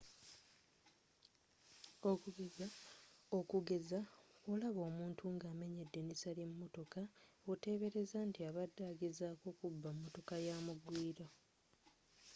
okugeza bwolaba omuntu ng'amenya edirisa lyemotoka otebereza nti abadde agezaako kubba motoka yamugwiira